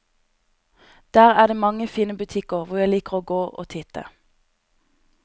Der er det mange fine butikker hvor jeg liker å gå og titte.